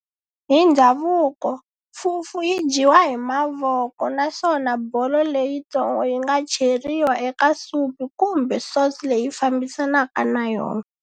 Hi ndzhavuko, Fufu yi dyiwa hi mavoko naswona bolo leyintsongo yinga cheriwa eka supu kumbe sauce leyi fambisanaka na yona.